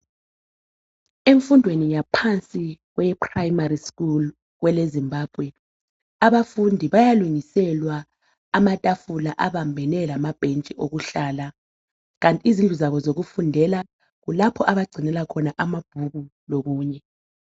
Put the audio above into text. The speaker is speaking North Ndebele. Emfundweni yaphansi kweye primary school .kwele Zimbabwe .Abafundi bayalungiselwa amatafula abambene lamabhentshi okuhlala kanti izindlu zabo zokufundela kulapho abagcinela khona amabhuku lokunye .